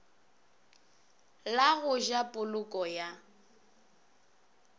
la go ja poloko ya